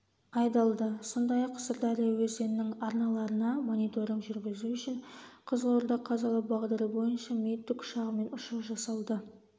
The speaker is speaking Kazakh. айдалды сондай-ақ сырдария өзенінің арналарына мониторинг жүргізу үшін қызылорда-қазалы бағдары бойынша ми тікұшағымен ұшу жасалды